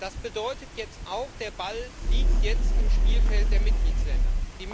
Das bedeutet jetzt auch Der Ball liegt jetzt im Spielfeld der Mitgliedsländer.